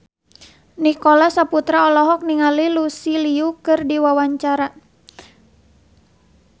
Nicholas Saputra olohok ningali Lucy Liu keur diwawancara